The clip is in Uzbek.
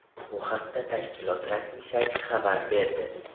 Bu haqda tashkilot rasmiy sayti xabar berdi .